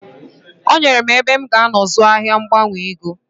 O nyere m ebe m g'anọ zụọ ahia mgbanwe ego.